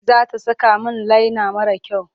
Za ta saka min laina mara kyau.